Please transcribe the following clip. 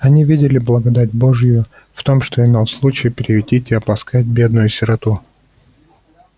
они видели благодать божию в том что имел случай приютить и обласкать бедную сироту